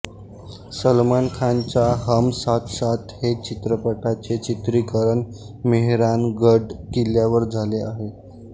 सलमान खान च्या हम साथ साथ है चित्रपटाचे चित्रीकरण मेहरानगढ किल्ल्यावर झाले आहे